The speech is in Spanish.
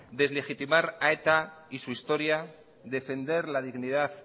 deslegitimar a eta y su historia defender la dignidad